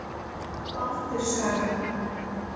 Baldurshaga